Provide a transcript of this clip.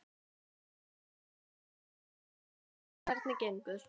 Þetta eru ansi frumstæðar aðstæður, hvernig, hvernig, gengur?